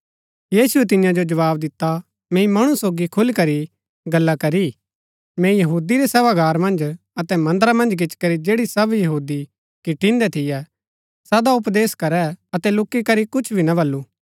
यीशुऐ तियां जो जवाव दिता मैंई मणु सोगी खुलीकरी गल्ला करी मैंई यहूदी रै सभागार मन्ज अतै मन्दरा मन्ज गिचीकरी जैड़ी सब यहूदी किठिन्दै थियै सदा उपदेश करै अतै लूकी करी कुछ भी ना बल्लू